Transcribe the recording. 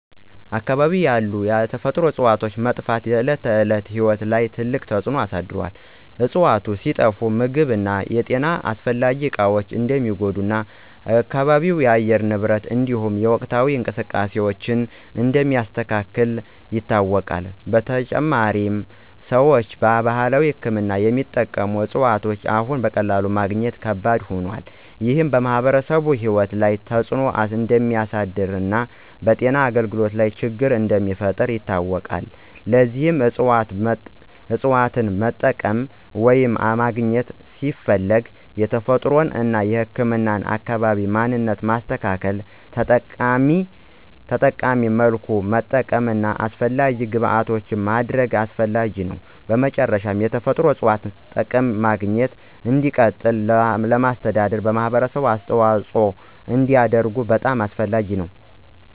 በአካባቢው ያሉ የተፈጥሮ እፅዋት መጥፋት በዕለት ተዕለት ሕይወት ላይ ትልቅ ተጽዕኖ አሳድሮአል። እፅዋቱ ሲጠፋ ምግብ እና የጤና አስፈላጊ እቃዎች እንደሚጎዱ እና አካባቢው የአየር ንብረትን እንዲሁም የወቅታዊ እንቅስቃሴዎችን እንደሚያስተካክል ይታወቃል። በተጨማሪም፣ ሰዎች በባህላዊ ሕክምና የሚጠቀሙት እፅዋት አሁን በቀላሉ ማግኘት ከባድ ሆኗል። ይህ በማኅበረሰቡ ሕይወት ላይ ተጽዕኖ እንደሚያሳድር እና በጤና አገልግሎት ላይ ችግር እንደሚፈጥር ይታወቃል። ለዚህ እፅዋትን መጠቀም ወይም ማግኘት ሲፈለግ የተፈጥሮን እና ህክምናን አካባቢ ማንነት ማስተካከል፣ ተጠቃሚ መልኩ ማጠቀም እና አስፈላጊ ግብዓቶችን ማድረግ አስፈላጊ ነው። በመጨረሻ፣ የተፈጥሮ እፅዋት ጥቅም ማግኘትና እንዲቀጥል ለማስተዳደር ማህበረሰቡ አስተዋጽኦ እንዲያደርግ በጣም አስፈላጊ ነው።